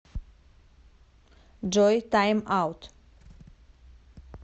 джой тайм аут